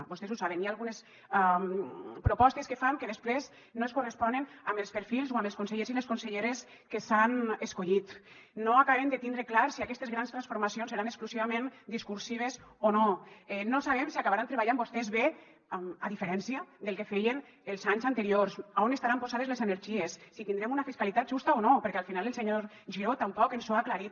vostès ho saben hi ha algunes propostes que fan que després no es corresponen amb els perfils o amb els consellers i les conselleres que s’han escollit no acabem de tindre clar si aquestes grans transformacions seran exclusivament discursives o no no sabem si acabaran treballant vostès bé a diferència del que feien els anys anteriors a on estaran posades les energies si tindrem una fiscalitat justa o no perquè al final el senyor giró tampoc ens ho ha aclarit